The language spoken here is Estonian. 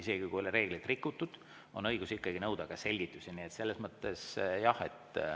Isegi kui ei ole reeglit rikutud, õigus nõuda selgitusi ikka on.